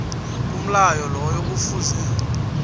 umlayo loyo kufuze